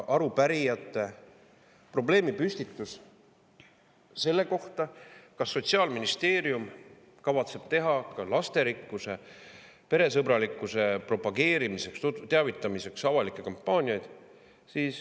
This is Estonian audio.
Arupärijate probleemipüstitus oli see, kas Sotsiaalministeerium kavatseb teha ka lasterikkuse ja peresõbralikkuse propageerimiseks ja sellest teavitamiseks avalikke kampaaniaid.